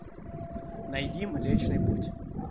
найди млечный путь